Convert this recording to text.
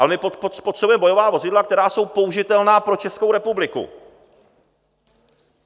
Ale my potřebujeme bojová vozidla, která jsou použitelná pro Českou republiku.